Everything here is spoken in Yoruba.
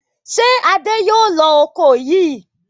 Ṣé Adé yóò lo ọkọ́ yìí?